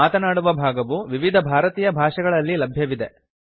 ಮಾತನಾಡುವ ಭಾಗವು ವಿವಿಧ ಭಾರತೀಯ ಭಾಷೆಗಳಲ್ಲಿ ಲಭ್ಯವಿದೆ